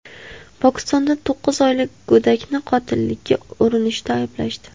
Pokistonda to‘qqiz oylik go‘dakni qotillikka urinishda ayblashdi.